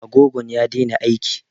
Agogon ya daina aiki